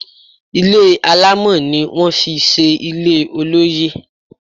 Ilé alámọ̀ ni wón fi ṣe ilé olóyè.